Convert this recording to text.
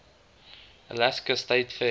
alaska state fair